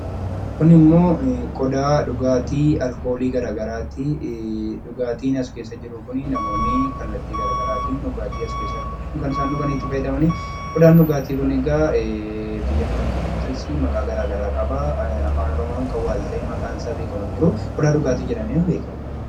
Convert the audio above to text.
Kunimmoo qodaa dhugaatii alkoolii gara garaati. Dhugaatiin as keessa jiru kun namoonni kallattii gara garaatiin kan isaan dhuganidha. Qodaan dhugaatii kun biyya keenya keessattis maqaa gara garaa qaba. Afaan Oromoo tiin kan waalta'ee maqaan isaa beekamr hin jiru, qodaa dhugaadhuma jedhama.